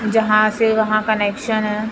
जहां से वहां कनेक्शन है।